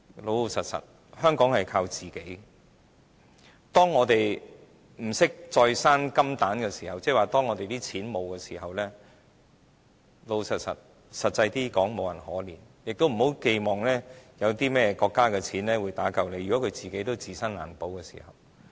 老實說，香港要靠自己，當我們不懂再生金蛋，即當我們沒有錢時，坦白說，實際上無人會可憐我們，亦不要寄望國家有錢打救我們，如果國家也自身難保的時候。